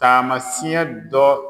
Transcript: Taamasiɲɛ dɔ